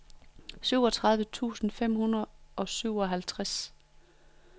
syvogtredive tusind fem hundrede og syvoghalvtreds